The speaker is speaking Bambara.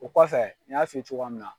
O kɔfɛ n y'a f'i ye cogoya min na.